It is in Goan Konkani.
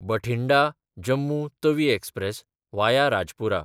बठिंडा–जम्मू तवी एक्सप्रॅस (वाया राजपुरा)